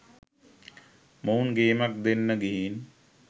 මොවුන් ගේමක් දෙන්න ගිහින්